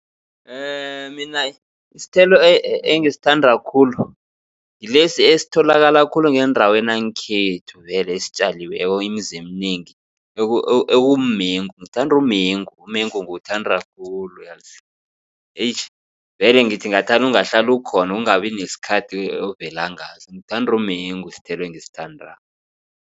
Mina isithelo engisithanda khulu. Ngilesi esitholakala khulu ngendaweni yangekhethu vele esitjaliweko imizi eminengi okumengu ngithanda umengu umengu ngiwuthanda khulu yazi. Eish vele ngithi ngathana ungahlala ukhona ukungabi nesikhathi ovela ngaso. Ngithanda umengu isithelo engisithandako.